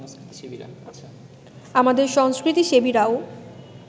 আমাদের সংস্কৃতিসেবীরাও